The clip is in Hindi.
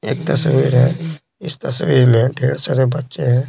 एक तस्वीर है इस तस्वीर में ढेर सारे बच्चे हैं।